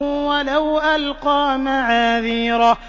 وَلَوْ أَلْقَىٰ مَعَاذِيرَهُ